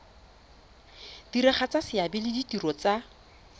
diragatsa seabe le ditiro tsa